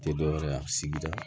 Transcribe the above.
Tɛ dɔ wɛrɛ ye a sigida